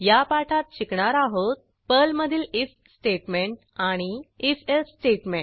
या पाठात शिकणार आहोत पर्लमधील आयएफ स्टेटमेंट आणि if एल्से स्टेटमेंट